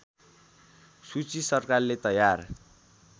सूची सरकारले तयार